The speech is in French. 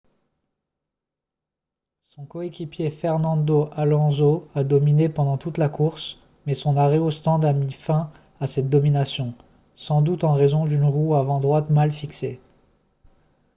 son coéquipier fernando alonso a dominé pendant toute la course mais son arrêt au stand a mis fin à cette domination sans doute en raison d'une roue avant droite mal fixée